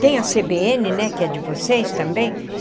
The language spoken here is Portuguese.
Tem a cê bê ene né, que é de vocês também?